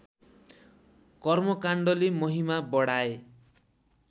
कर्मकाण्डले महिमा बढाए